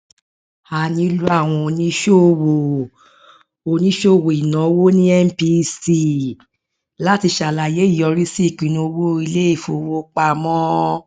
a nílò àwọn oníṣòwò oníṣòwò ìnáwó ní mpc láti ṣàlàyé ìyọrísí ìpinnu owó iléìfowópamọ